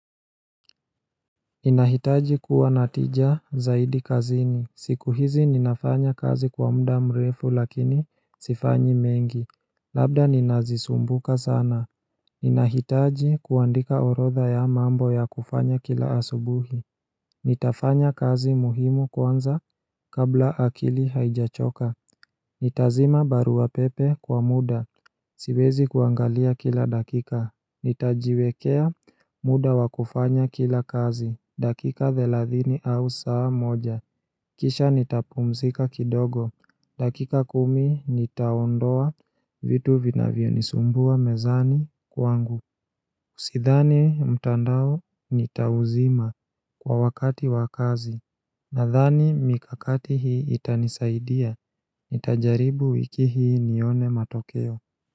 Ninahitaji kuwa na tija zaidi kazini. Siku hizi ninafanya kazi kwa mda mrefu lakini sifanyi mengi. Labda ninazisumbuka sana. Ninahitaji kuandika orotha ya mambo ya kufanya kila asubuhi. Nitafanya kazi muhimu kwanza kabla akili haijachoka. Nitazima baru wa pepe kwa muda. Siwezi kuangalia kila dakika. Nitajiwekea muda wa kufanya kila kazi, dakika thelathini au saa moja Kisha nitapumzika kidogo, dakika kumi nitaondoa vitu vinavyonisumbua mezani kwangu Usidhani mtandao nitauzima kwa wakati wakazi, nadhani mikakati hii itanisaidia, nitajaribu wiki hii nione matokeo.